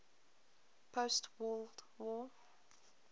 post world war